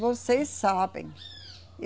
Vocês sabem.